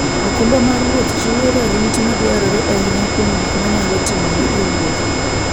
okumba mar wuoth chiwo rit madwarore ahinya kuom gik manyalo timore e wuoth.